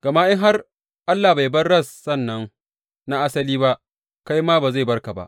Gama in har Allah bai bar rassan nan na asali ba, kai ma ba zai bar ka ba.